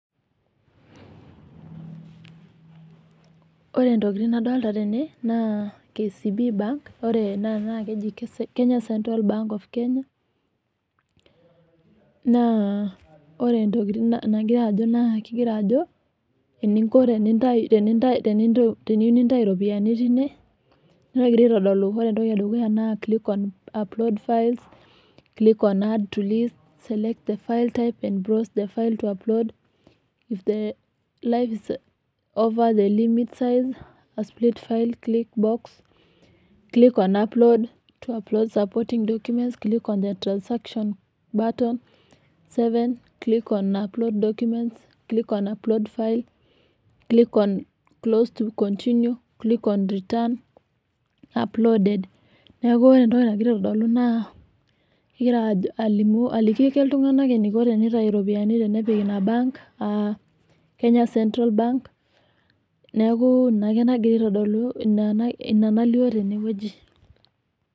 ore itokitin naadolta tene naa KCB bank ore ena naa keji naa ore ntokitin nagira ajo naa kegira ajo eningo ,tenitayu teniyieu nintau iropiyiani teine negira aitodolu ajo ore entoki edukuya naa click on upload files click on earth to live select files click on upload click on the section batons click on upload file neeku ore entoki kegira aliki iltung'anak eniko tenitumiaya central banks neeku ina nagira aasa teneweji.